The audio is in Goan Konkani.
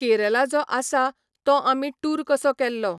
केरला जो आसा तोआमी टूर कसो केल्लो.